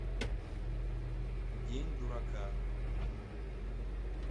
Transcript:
день дурака